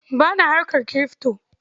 Ba na harkar kirifto.